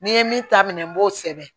N'i ye min ta minɛ n b'o sɛbɛn